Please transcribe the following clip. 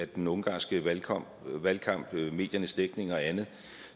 den ungarske valgkamp valgkamp mediernes dækning og andet